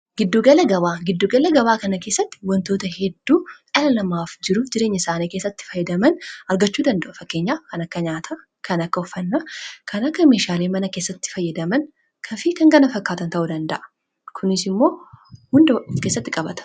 Gidduugala gabaa kana keessatti wantoota hedduu jiruu jireenya isaanii keessatti fayyadaman argachuu danda'a.